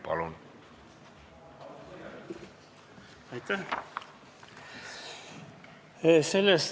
Palun!